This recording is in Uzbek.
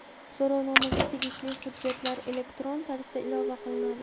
So‘rovnomaga tegishli hujjatlar elektron tarzda ilova qilinadi.